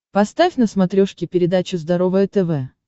поставь на смотрешке передачу здоровое тв